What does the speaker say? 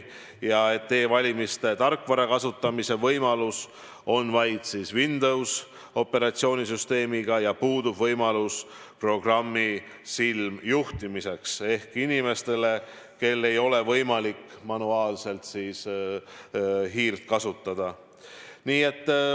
E-valimiste tarkvara kasutamise võimalus on vaid Windowsi operatsioonisüsteemiga ja puudub võimalus programmi silmjuhtimiseks inimestel, kellel ei ole võimalik manuaalselt hiirt kasutada.